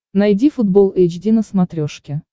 найди футбол эйч ди на смотрешке